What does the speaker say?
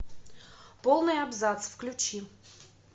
полный абзац включи